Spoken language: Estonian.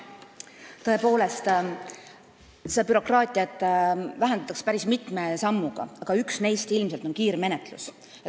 Tõepoolest, bürokraatiat vähendatakse päris mitme sammuga, üks neist on ilmselt kiirmenetlus.